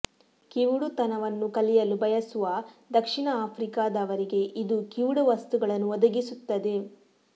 ಕಿವುಡುತನವನ್ನು ಕಲಿಯಲು ಬಯಸುವ ದಕ್ಷಿಣ ಆಫ್ರಿಕಾದವರಿಗೆ ಇದು ಕಿವುಡ ವಸ್ತುಗಳನ್ನು ಒದಗಿಸುತ್ತದೆ